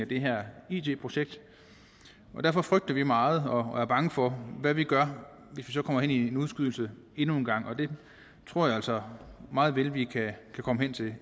det her it projekt og derfor frygter vi meget og er bange for hvad vi gør hvis vi så kommer hen i en udskydelse endnu en gang og det tror jeg altså meget vel vi kan komme hen til det